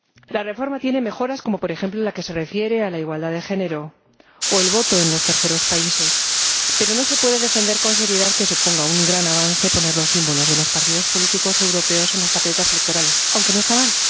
La reforma tiene mejoras como, por ejemplo, la que se refiere a la igualdad de género o el voto en los terceros países, pero no se puede defender con seriedad que suponga un gran avance poner los símbolos de los partidos políticos europeos en las papeletas electorales, aunque no está mal.